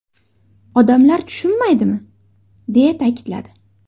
Odamlar tushunmaydimi?”, deya ta’kidladi.